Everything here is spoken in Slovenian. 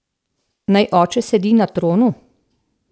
Naj oče sedi na tronu.